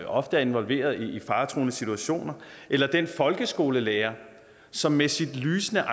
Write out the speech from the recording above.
ofte er involveret i faretruende situationer eller den folkeskolelærer som med sit lysende